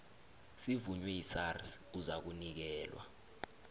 sivunywe yisars uzakunikelwa